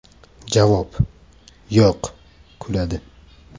Javob: Yo‘q (kuladi).